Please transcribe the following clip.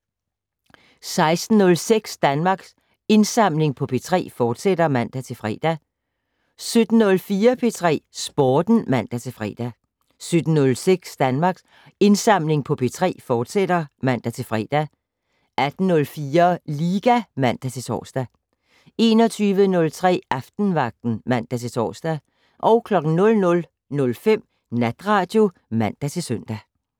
16:06: Danmarks Indsamling på P3, fortsat (man-fre) 17:04: P3 Sporten (man-fre) 17:06: Danmarks Indsamling på P3, fortsat (man-fre) 18:04: Liga (man-tor) 21:03: Aftenvagten (man-tor) 00:05: Natradio (man-søn)